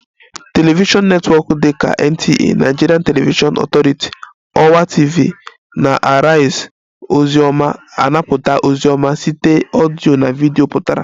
Television netwọk dị ka NTA (Nigerian Television Authority), ọwa TV na Arise ozi ọma anapụta ozi ọma site ọdịyo na video pụtara